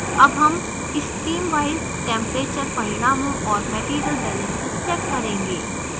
अब हम streamwise temperature परिणामों और material balance check करेंगे